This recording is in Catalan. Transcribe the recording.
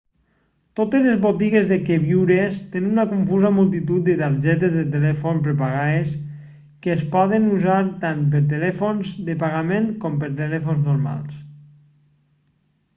totes les botigues de queviures tenen una confusa multitud de targetes de telèfon prepagades que es poden usar tant per telèfons de pagament com per telèfons normals